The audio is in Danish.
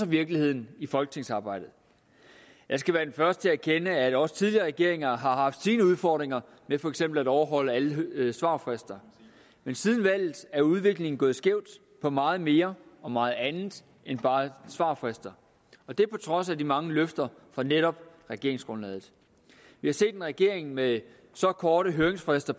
virkeligheden i folketingsarbejdet jeg skal være den første erkende at også tidligere regeringer har haft sine udfordringer med for eksempel at overholde alle svarfrister men siden valget er udviklingen gået skævt for meget mere og meget andet end bare svarfrister og det er på trods af de mange løfter fra netop regeringsgrundlaget vi har set en regering med så korte høringsfrister